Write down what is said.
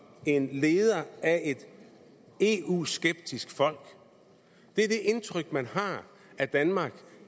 en leder af et eu skeptisk folk det er det indtryk man har af danmark